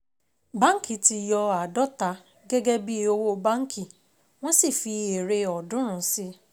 Báńkì ti yọ àádọ́ta gẹ́gẹ́ bí owó báńkì, wọ́n sì fi èrè ọ̀ọ́dúnrún sí i.